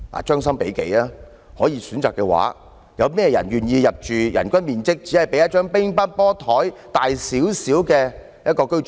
將心比己，如果可以選擇，有誰願意入住人均面積只比一張乒乓球桌大少許的單位？